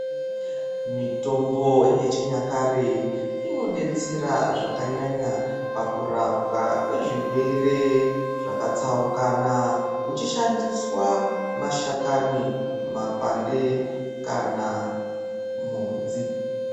Mitombo yechinyakare inodetsera zvakanyanya pakurapwa kwezvirere zvakatsaukana kuchishandiswa mashakani, mapande kana mhodzi.